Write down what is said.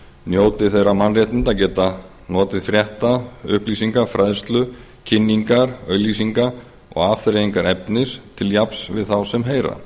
njóti þeirra mannréttinda að geta notið frétta upplýsinga fræðslu kynningar auglýsinga og afþreyingarefnis til jafns við þá sem heyra